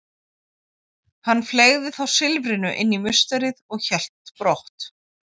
Hann fleygði þá silfrinu inn í musterið og hélt brott.